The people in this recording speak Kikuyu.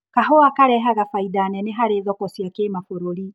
Kahũa karehaga bainda nene harĩ thoko cia kĩmabururi.